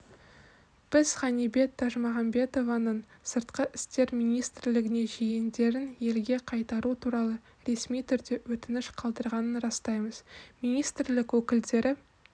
бізғанибет тажмағамбетованың сыртқы істер министрлігіне жиендерін елге қайтару туралы ресми түрде өтініш қалдырғанын растаймыз министрлік өкілдері